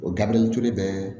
O gabiriyɛritule bɛ